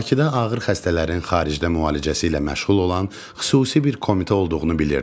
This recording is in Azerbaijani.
Bakıda ağır xəstələrin xaricdə müalicəsi ilə məşğul olan xüsusi bir komitə olduğunu bilirdim.